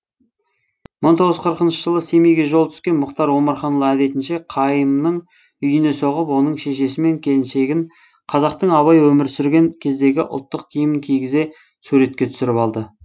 бір мың тоғыз жүз қырықыншы жылы семейге жолы түскен мұхтар омарханұлы әдетінше қайымның үйіне соғып оның шешесі мен келіншегін қазақтың абай өмір сүрген кездегі ұлттық киімін кигізе суретке түсіріп алды